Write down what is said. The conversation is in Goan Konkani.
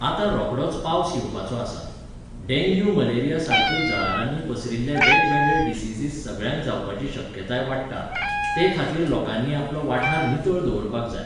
आतां रोकडोच पावस येवपाचो आसा. डेंग्यू मलेरीया सारक्यो जळारांनी पसरिल्ले वेगवेगळे diseases सगळ्यांक जावपाची शक्यताय वाडटा. ते खातीर लोकांनी आपलो वाठार नितळ दवरपाक जाय